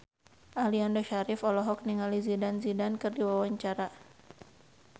Aliando Syarif olohok ningali Zidane Zidane keur diwawancara